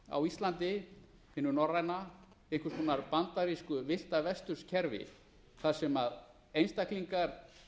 á íslandi hinu norræna einhvers konar bandarísku villta vesturs kerfi þar sem einstaklingar